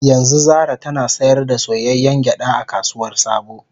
Yanzu Zara tana sayar da soyayyen gyada a kasuwar sabo